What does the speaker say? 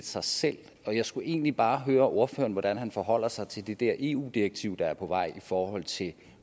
sig selv jeg skulle egentlig bare høre ordføreren hvordan han forholder sig til det der eu direktiv der er på vej i forhold til